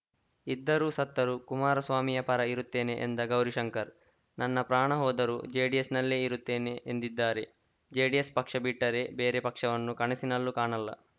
ಇದ್ದರೂ ಸತ್ತರೂ ಕುಮಾರಸ್ವಾಮಿಯ ಪರ ಇರುತ್ತೇನೆ ಎಂದ ಗೌರಿಶಂಕರ್‌ ನನ್ನ ಪ್ರಾಣ ಹೋದರೂ ಜೆಡಿಎಸ್‌ನಲ್ಲೇ ಇರುತ್ತೇನೆ ಎಂದಿದ್ದಾರೆ ಜೆಡಿಎಸ್‌ ಪಕ್ಷ ಬಿಟ್ಟರೆ ಬೇರೆ ಪಕ್ಷವನ್ನು ಕನಸಿನಲ್ಲೂ ಕಾಣಲ್ಲ